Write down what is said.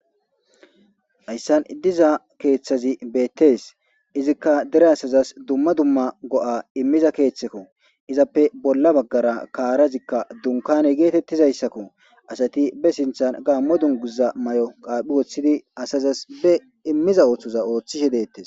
Hayissan diza keththaz bettes izika dere asazas dumma dumma go'a imiza keththekko izappe bolla baggara karazikka dunkane getetizayssakko asati be sinththen gamo dungiza mayo qaphphi woththdi asazas be imiza oththoza oththishe dettes